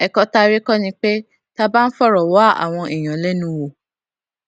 èkó tá a rí kó ni pé tá a bá ń fòrò wá àwọn èèyàn lénu wò